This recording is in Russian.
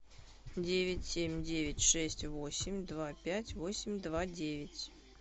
девять семь девять шесть восемь два пять восемь два девять